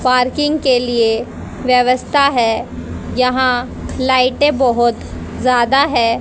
Parking के लिए व्यवस्था है यहां लाइटें बहुत ज्यादा है।